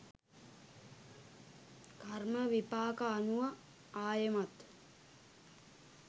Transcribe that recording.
කර්ම විපාක අනුව ආයෙමත්